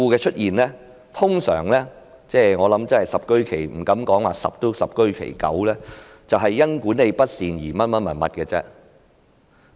出現這些事故，我不敢說十居其十，但十居其九都是因管理不善所致。